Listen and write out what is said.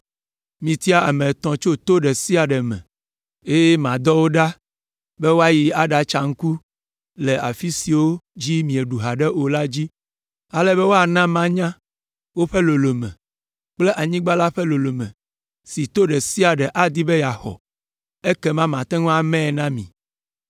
Mitia ame etɔ̃ tso to ɖe sia ɖe me, eye madɔ wo ɖa be woayi aɖatsa ŋku le afi siwo dzi míeɖu haɖe o la dzi, ale be woana manya woƒe lolome kple anyigba la ƒe lolome si to ɖe sia ɖe adi be yeaxɔ, ekema mate ŋu amae na mi.